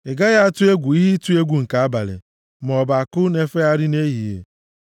Ị gaghị atụ egwu ihe ịtụ oke egwu nke abalị, maọbụ àkụ na-efegharị nʼehihie,